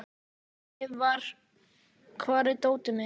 Leivi, hvar er dótið mitt?